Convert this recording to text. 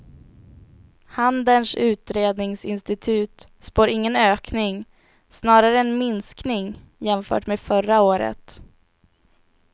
Handelns utredningsinstitut spår ingen ökning, snarare en minskning jämfört med förra året.